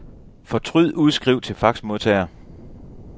Fortryd udskriv til faxmodtager.